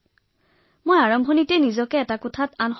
তাৰ পূৰ্বেই মই এটা কোঠাৰ ভিতৰত নিজকে পৃথক কৰি ৰাখিছিলো